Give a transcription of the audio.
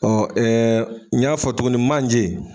Ɔn ɛɛ n y'a fɔ tuguni manje